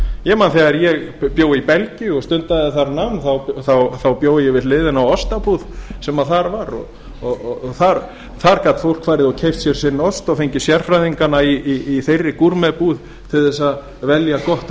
ég man að þegar ég bjó í belgíu og stundaði þar nám þá bjó ég við hliðina á ostabúð sem þar var þá gat fólk farið og keypt sér sinn ost og fengið sérfræðingana í þeirri búð til að velja gott